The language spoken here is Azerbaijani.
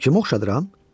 Kimə oxşadıram?